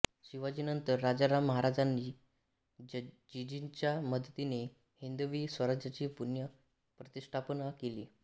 शिवाजीनंतर राजाराम महाराजांनी जिंजीच्या मदतीने हिंदवी स्वराज्याची पुनः प्रतिष्ठापना केली